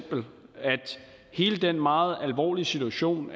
hele den meget alvorlige situation